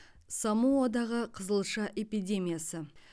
самоадағы қызылша эпидемиясы